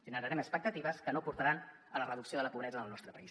generarem expectatives que no portaran a la reducció de la pobresa en el nostre país